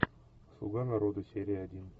слуга народа серия один